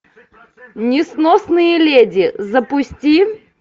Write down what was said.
несносные леди запусти